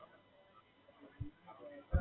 હાં, એટલે વધારે તો નહીં ફર્યો.